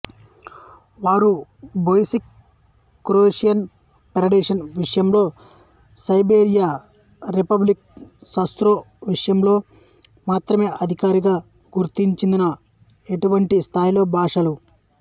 వారు Bosniak Croatian federation విషయంలో Serbia Republic Srpska విషయంలో మాత్రమే అధికారిగా గుర్తించినందున ఎంటిటీ స్థాయిలో భాషలు